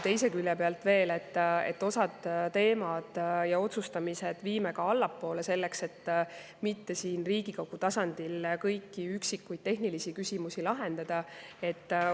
Teise külje pealt me viime osaliselt teemasid ja otsustamist ka allapoole, et mitte siin Riigikogu tasandil kõiki üksikuid tehnilisi küsimusi lahendama hakata.